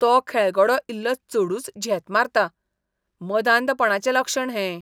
तो खेळगडो इल्लो चडूच झेत मारता, मदांधपणाचें लक्षण हें.